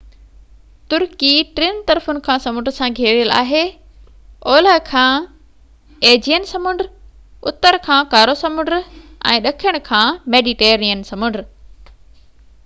ترڪي ٽن طرفن کان سمنڊ سان گهيريل آهي اولهہ کان ايجيئن سمنڊ اتر کان ڪارو سمنڊ ۽ ڏکڻ کان ميڊيٽرينين سمنڊ